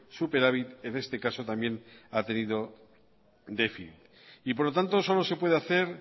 superávit en este caso por lo tanto solo se puede hacer